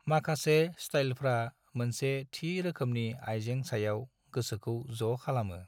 माखासे स्टाइलफ्रा मोनसे थि रोखोमनि आइजें सायाव गोसोखौ ज' खालामो।